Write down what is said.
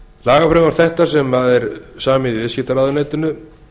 lagafrumvarp þetta sem samið er í viðskiptaráðuneytinu